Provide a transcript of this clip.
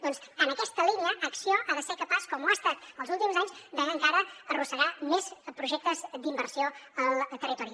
doncs en aquesta línia acció ha de ser capaç com ho ha estat els últims anys d’encara arrossegar més projectes d’inversió al territori